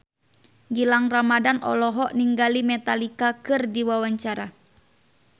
Gilang Ramadan olohok ningali Metallica keur diwawancara